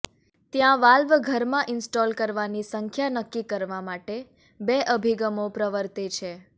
ત્યાં વાલ્વ ઘરમાં ઇન્સ્ટોલ કરવાની સંખ્યા નક્કી કરવા માટે બે અભિગમો પ્રવર્તે છે